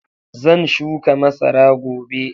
Zan shuka masara gobe.